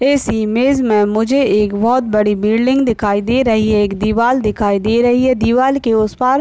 इस इमेज मे मुझे एक बहुत बड़ी बिल्डिंग दिखाई दे रही है एक दीवाल दिखाई दे रही है दीवाल के उस पार --